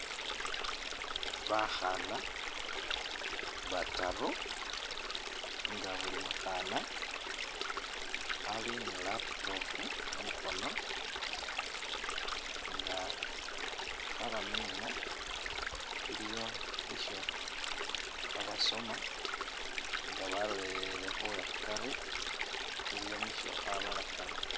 Bakhana bataru nga buli mukhana Ali ni laptop mukhono nga khabamina ,iliyo nisho khabasoma nga balolelele uwe'khukari iliyo nisho khabalakana